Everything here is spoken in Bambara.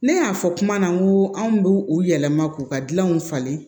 Ne y'a fɔ kuma na n ko anw b'u u yɛlɛma k'u ka dilanw falen